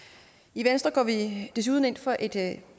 i venstre går vi desuden ind for et